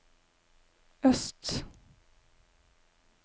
øst